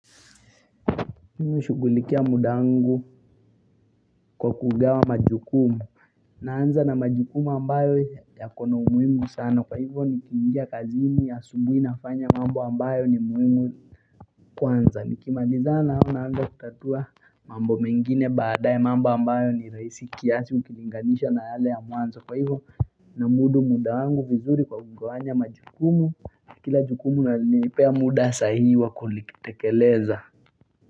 Shughulikia muda wangu kwa kugawa majukumu naanza na majukumu ambayo yako na umuhimu sana kwa hivyo nikiingia kazini asubuhi nafanya mambo ambayo ni muhimu kwanza nikimalizana nayo naanza kutatua mambo mengine baadae mambo ambayo ni rahisi kiasi ukilinganisha na yale ya mwanzo kwa hivyo namudu muda wangu vizuri kwa kugawanya majukumu kila jukumu lanipea muda sahihi wa kulitekeleza.